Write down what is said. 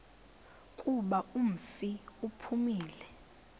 kuba umfi uphumile